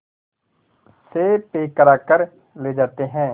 से पैक कराकर ले जाते हैं